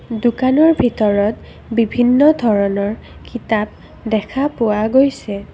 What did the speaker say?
দোকানৰ ভিতৰত বিভিন্ন ধৰণৰ কিতাপ দেখা পোৱা গৈছে।